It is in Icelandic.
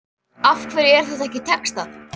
Af hverju er þetta ekki textað?